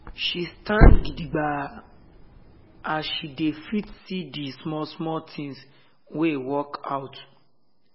she stand gidigba as she dey fit see d small small tins wey work out.